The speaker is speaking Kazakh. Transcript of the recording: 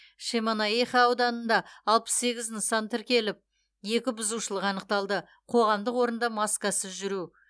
шемонаиха ауданында алпыс сегіз нысан тексеріліп екі бұзушылық анықталды қоғамдық орында маскасыз жүру